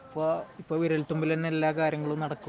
ഇപ്പോൾ വിരൽത്തുമ്പിൽ തന്നെ എല്ലാ കാര്യങ്ങളും നടക്കും